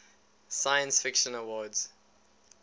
science fiction awards